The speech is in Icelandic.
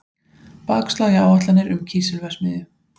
Bakslag í áætlanir um kísilverksmiðju